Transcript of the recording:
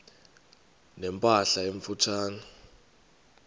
ne mpahla emfutshane